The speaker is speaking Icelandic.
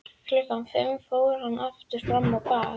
Klukkan fimm fór hann aftur fram á bað.